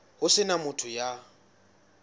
ho se na motho ya